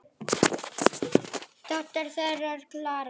Dóttir þeirra er Klara.